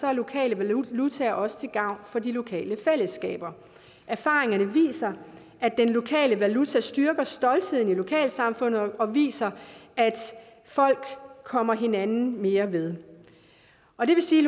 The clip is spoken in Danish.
er lokale valutaer også til gavn for de lokale fællesskaber erfaringerne viser at den lokale valuta styrker stoltheden i lokalsamfundet og viser at folk kommer hinanden mere ved og det vil sige